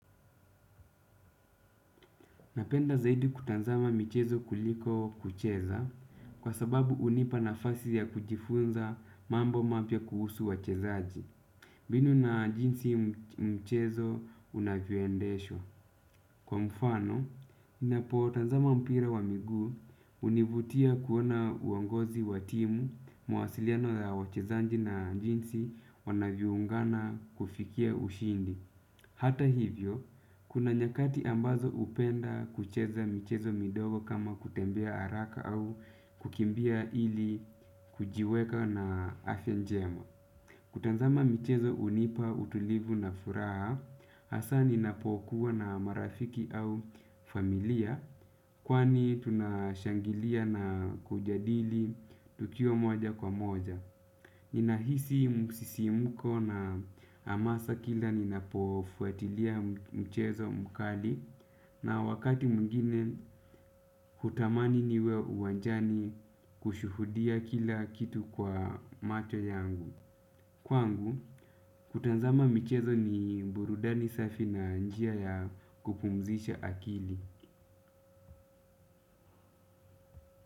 Napenda zaidi kutazama michezo kuliko kucheza kwa sababu hunipa nafasi ya kujifunza mambo mapya kuhusu wachezaji. Mbinu na jinsi mchezo unavyoendeshwa. Kwa mfano, napotazama mpira wa miguu hunivutia kuona uongozi wa timu mawasiliano ya wachezaji na jinsi wanavyoungana kufikia ushindi. Hata hivyo, kuna nyakati ambazo hupenda kucheza michezo midogo kama kutembea haraka au kukimbia ili kujiweka na afya njema. Kutazama michezo hunipa utulivu na furaha, hasaa ninapokuwa na marafiki au familia kwani tunashangilia na kujadili tukiwa moja kwa moja. Ninahisi msisimko na hamasa kila ninapofuatilia mchezo mkali, na wakati mwingine hutamani niwe uwanjani kushuhudia kila kitu kwa macho yangu. Kwangu, kutazama michezo ni burudani safi na njia ya kupumzisha akili.